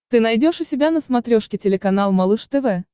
ты найдешь у себя на смотрешке телеканал малыш тв